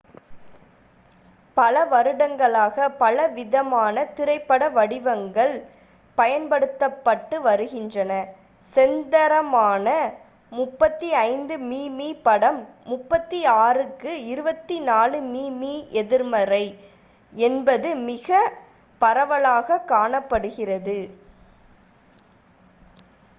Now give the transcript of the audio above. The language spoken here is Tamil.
பல வருடங்களாக பலவிதமான திரைப்பட வடிவங்கள் பயன்படுத்தப்பட்டு வருகின்றன. செந்தரமான 35 மி.மி படம் 36 க்கு 24 மி.மி எதிர்மறை என்பது மிக பரவலாக காணப்படுகிறது